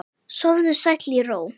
Sofðu sæll í ró.